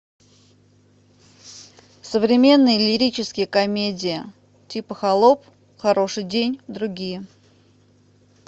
современные лирические комедии типа холоп хороший день другие